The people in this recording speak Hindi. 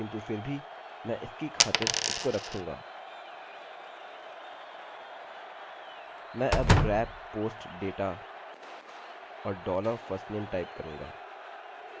मैं अब grab post data और dollar firstname टाइप करूँगा